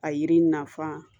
A yiri nafan